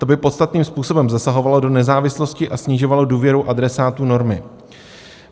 To by podstatným způsobem zasahovalo do nezávislosti a snižovalo důvěru adresátů normy.